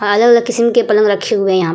अलग-अलग किस्म के पलंग रखे हुए हैं यहाँ --